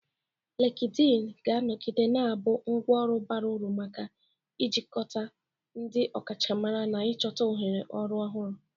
Likidin ga-anọgide na-abụ ngwá ọrụ bara uru maka ijikọta ndị ọkachamara na ịchọta ohere ọrụ ọhụrụ.